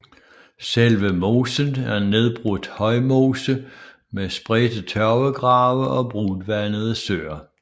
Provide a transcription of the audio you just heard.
Selve mosen er nedbrudt højmose med spredte tørvegrave og brunvandede søer